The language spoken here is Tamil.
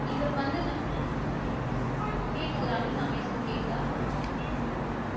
இவர் வந்து நான் கேட்குது ராணி நான் பேசுறது கேட்குதா